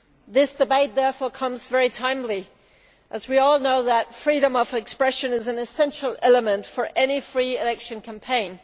This debate, therefore, is very timely as we all know that freedom of expression is an essential element for any free election campaign.